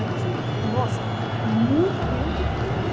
Aí começou a me... Nossa, muita, aí eu não tive tempo.